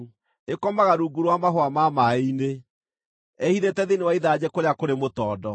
Ĩkomaga rungu rwa mahũa ma maaĩ-inĩ, ĩĩhithĩte thĩinĩ wa ithanjĩ kũrĩa kũrĩ mũtondo.